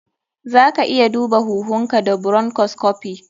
Zaka iya duba huhunka da bronchoscopy.